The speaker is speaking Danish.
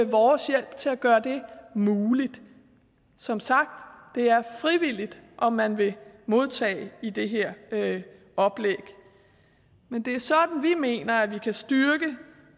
vores hjælp til at gøre det muligt som sagt det er frivilligt om man vil modtage i det her oplæg men det er sådan vi mener at vi kan styrke